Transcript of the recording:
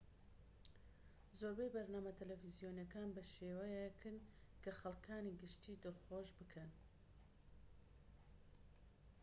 زۆربەی بەرنامە تەلەڤیزۆنیەکان بە شێوەیەکن کە خەڵکانی گشتیی دڵخۆش بکەن